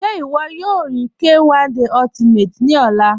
Ṣẹ iwọ yọ rí K1 De Ultimate ni ọ̀là?